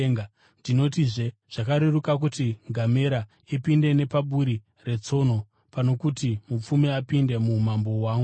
Ndinotizve zvakareruka kuti ngamera ipinde nepaburi retsono pano kuti mupfumi apinde muumambo hwaMwari.”